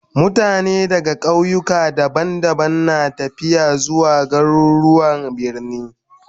Mutane daga kauyuka daban-daban na tafiya zuwa garuruwan birni